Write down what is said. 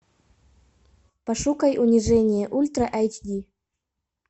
пошукай унижение ультра айч ди